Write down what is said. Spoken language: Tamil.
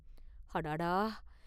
அடாடா!